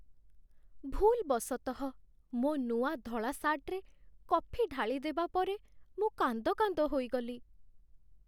ଭୁଲ୍‌ବଶତଃ ମୋ ନୂଆ ଧଳା ସାର୍ଟରେ କଫି ଢାଳିଦେବା ପରେ ମୁଁ କାନ୍ଦ କାନ୍ଦ ହୋଇଗଲି।